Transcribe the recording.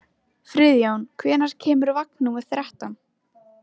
Friðjón, hvenær kemur vagn númer þrettán?